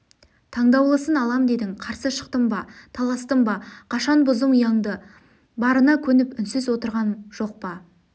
тандаулысын алам дедің қарсы шықтым ба таластым ба қашан бұздым ұянды барына көніп үнсіз отырғам жоқпа